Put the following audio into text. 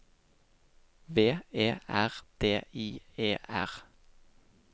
V E R D I E R